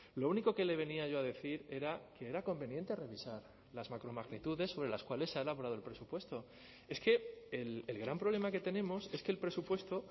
lo único que le venía yo a decir era que era conveniente revisar las macromagnitudes sobre las cuales se ha elaborado el presupuesto es que el gran problema que tenemos es que el presupuesto